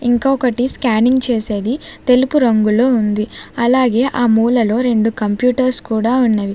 ఇంకొకటి స్కానింగ్ చేసేది తెలుపు రంగులో ఉంది అలాగే ఆ మూలలో రెండు కంప్యూటర్స్ కూడా ఉన్నవి.